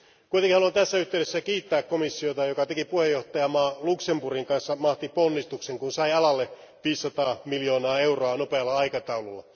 Haluan kuitenkin tässä yhteydessä kiittää komissiota, joka teki puheenjohtajamaan Luxemburgin kanssa mahtiponnistuksen, kun sai alalle 500 miljoonaa euroa nopealla aikataululla.